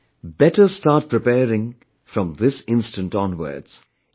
So, better start preparing from this instant onwards